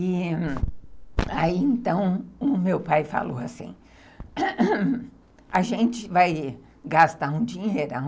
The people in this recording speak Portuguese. E aí, então, o meu pai falou assim, a gente vai gastar um dinheirão